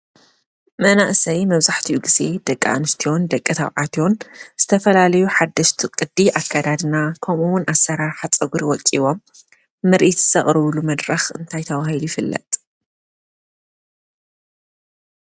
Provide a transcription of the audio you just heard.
መናእሰይ መብዛሕትኡ ጊዜ ደቂ ኣንስትዮን ደቀ ታብዓትን ዝተፈላለዩ ሓደስቱ ቕዲ ኣካዳድና ከምውን ኣሠራሓ ፀጕሪ ወፂዎም ምርት ዝሰቕርብሉ መድራኽ እንታይ ተባሂል ይፍለጥ?